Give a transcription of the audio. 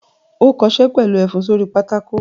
Ó kọṣẹ́ pẹ̀lú ẹfun sórí pátákó!